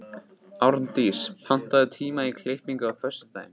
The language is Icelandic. Árndís, pantaðu tíma í klippingu á föstudaginn.